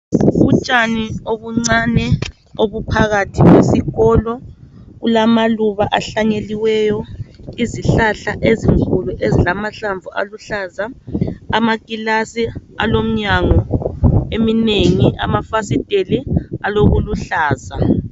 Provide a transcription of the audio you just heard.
Utshani obuncani obuphakathi kwesikolo kulamaluba ahlanyeliweyo izihlahla ezinkulu ezilamahlamvu aluhlaza amakilasi alomnyango eminengi amafasiteli alokuluhlaza.